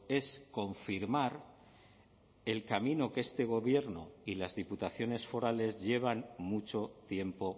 es confirmar el camino que este gobierno y las diputaciones forales llevan mucho tiempo